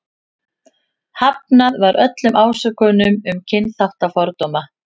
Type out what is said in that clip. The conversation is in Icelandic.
Hafnað var öllum ásökunum um kynþáttafordóma.